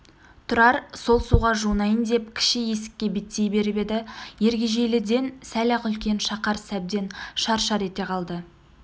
тұрар сол суға жуынайын деп кіші есікке беттей беріп еді ергежейліден сәл-ақ үлкен шақар сәбден шар-шар ете қалды